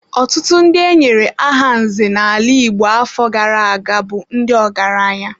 Ọtụtụ ndị e nyere aha nze n'ala Igbo afọ gara aga bụ ndị ọgaranya.